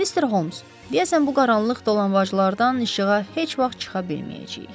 Mr. Holmes, deyəsən bu qaranlıq dolanbaclardan işığa heç vaxt çıxa bilməyəcəyik.